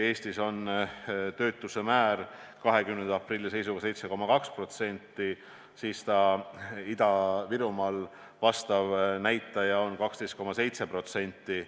Eestis on töötuse määr 20. aprilli seisuga 7,2%, seevastu Ida-Virumaal on vastav näitaja 12,7%.